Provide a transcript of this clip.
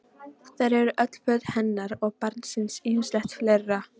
Þar eru öll föt hennar og barnsins og ýmislegt fleira.